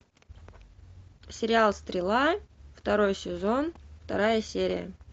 сериал стрела второй сезон вторая серия